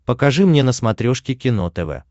покажи мне на смотрешке кино тв